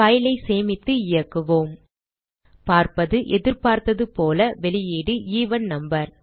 file ஐ சேமித்து இயக்குவோம் பார்ப்பது எதிர்பார்த்ததுபோல வெளியீடு எவன் நம்பர்